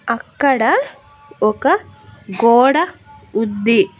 అక్కడ ఒక గోడ ఉంది.